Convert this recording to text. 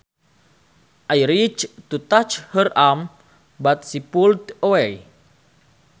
I reached to touch her arm but she pulled away